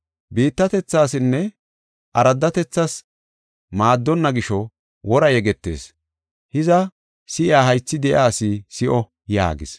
Biittatethasinne araddatethas maaddona gisho wora yegetees. Hiza, si7iya haythi de7iya asi si7o” yaagis.